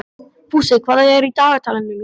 Fúsi, hvað er í dagatalinu í dag?